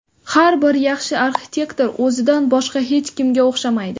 Har bir yaxshi arxitektor o‘zidan boshqa hech kimga o‘xshamaydi.